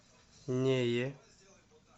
нее